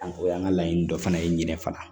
o y'an ka laɲini dɔ fana ye ɲinɛ fana